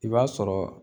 I b'a sɔrɔ